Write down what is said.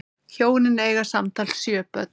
Hjónin eiga samtals sjö börn.